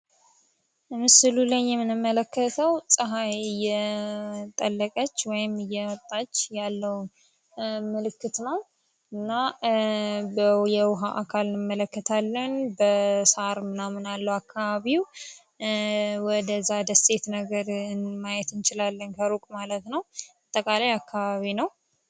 ምስሉ ምንመለከተው ፀሐይ የጠለቀች ወይም እየውጣች ያለው ምልክት ነው። እና የዉሃ አካል እንመለከታለን በሣር አካባቢው ወደዛ ደሴት ነገር ማየት እንችላለን ከሩቅ ማለት ነው። አጠቃለይ አከባቢ ነው።